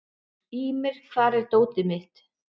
Ýmir, hvar er dótið mitt?